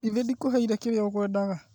Ithĩ ndikũheire kĩrĩa ũkwendaga?